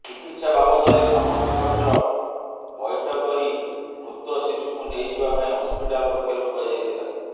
ଚିକିତ୍ସା ବାବଦରେ ସମସ୍ତ ଖର୍ଚ୍ଚ ବୈଠ କରି ମୃତ ଶିଶୁକୁ ନେଇଯିବା ପାଇଁ ହସ୍ପିଟାଲ ପକ୍ଷରୁ କୁହାଯାଇଥିଲା